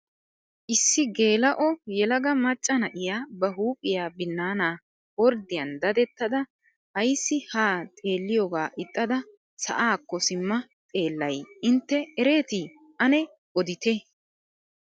Issi geela'o yelaga macca na'iyaa ba huphphiyaa binaana orddiyaan dadettada ayssi haa xeelliyoga ixxada sa'aakko simma xeellay intte eretii ane odite?